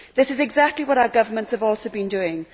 This is exactly what our governments have also been doing.